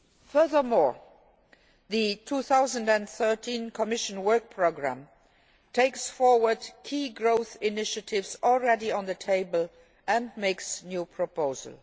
Furthermore, the 2013 Commission work programme takes forward key growth initiatives already on the table and makes new proposals.